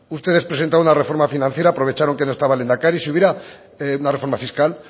ustedes presentaron una reforma financiera aprovecharon que no estaba el lehendakari si hubiera una reforma fiscal